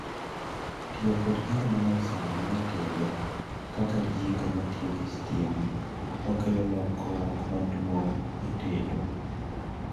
tiyo kod gigo manyasani e tedo kaka jiko matiyo gi sitima okelo lokruok maduong' e tedo